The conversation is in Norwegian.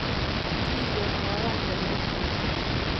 Tidlig om morgenen ville de opp og ut.